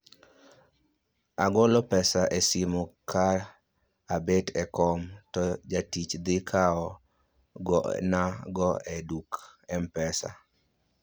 Agolo pesa e simu ka abet e kom, to jatich dhi kao na go e duk m-pesa